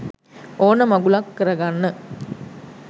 ඕන මගුලක් කරගන්න